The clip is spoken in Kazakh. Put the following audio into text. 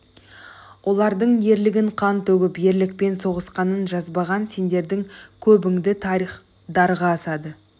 олардың ерлігін қан төгіп ерлікпен соғысқанын жазбаған сендердің көбіңді тарих дарға асады